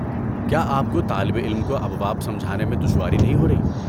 کیا آپ کو طالب علم کو ابواب سمجھانے میں دشواری نہیں ہو رہی؟